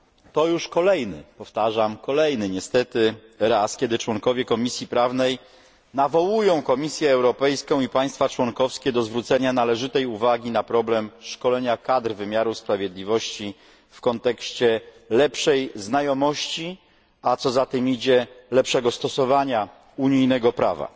To już kolejny powtarzam kolejny, niestety raz, kiedy członkowie Komisji Prawnej nawołują Komisję Europejską i państwa członkowskie do zwrócenia należytej uwagi na problem szkolenia kadr wymiaru sprawiedliwości w kontekście lepszej znajomości, a co za tym idzie lepszego stosowania unijnego prawa.